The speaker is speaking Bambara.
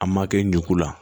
An ma kɛ n ɲe ko la